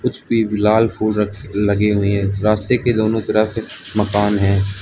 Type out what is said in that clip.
लाल फूल रख लगे हुए है। रस्ते के दोनों तरफ मकान है।